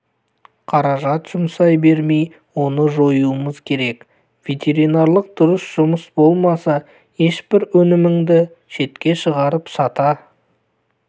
қаражат жұмсай бермей оны жоюымыз керек ветеринарлық дұрыс жұмыс болмаса ешбір өніміңді шетке шығарып сата